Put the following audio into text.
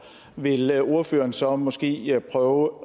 vil ordføreren så måske prøve